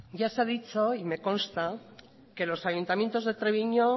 ya se ha dicho hoy y me consta que los ayuntamientos de treviño